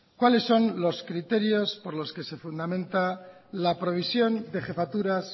cuáles son los criterios por los que se fundamenta la provisión de jefaturas